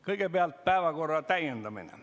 Kõigepealt päevakorra täiendamine.